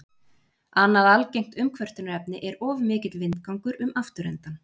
annað algengt umkvörtunarefni er of mikill vindgangur um afturendann